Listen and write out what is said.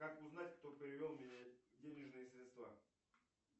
как узнать кто перевел мне денежные средства